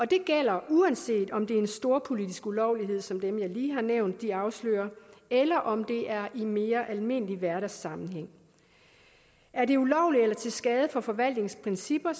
det gælder uanset om det er en storpolitisk ulovlighed som dem jeg lige har nævnt de afslører eller om det er i en mere almindelig hverdagssammenhæng er det ulovligt eller til skade for forvaltningens principper